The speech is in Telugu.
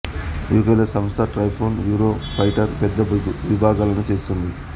యు కె లో సంస్థ టైఫూన్ యూరో ఫైటర్ పెద్ద విభాగాలను చేస్తుంది